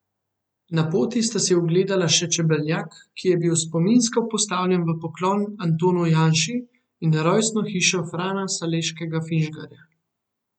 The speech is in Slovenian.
Na poti sta si ogledala še čebelnjak, ki je bil spominsko postavljen v poklon Antonu Janši, in rojstno hišo Frana Saleškega Finžgarja.